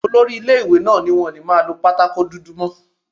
Olori ilé-ìwé náà ní wọn ò ní máa lọ pátákò dúdú mọ́